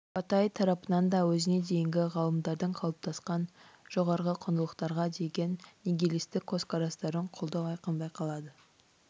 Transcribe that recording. батай тарапынан да өзіне дейінгі ғалымдардың қалыптасқан жоғарғы құндылықтарға деген нигилистік көзқарастарын қолдау айқын байқалады